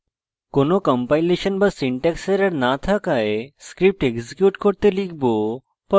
কোনো কম্পাইলেশন বা syntax error no থাকায় script execute করতে লিখব